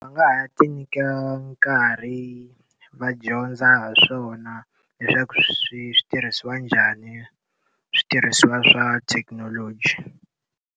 Va nga ha ti nyika nkarhi va dyondza ha swona, leswaku swi swi tirhisiwa njhani switirhisiwa swa thekinoloji.